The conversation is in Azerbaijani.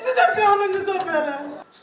Sizi də qanınızə bələ.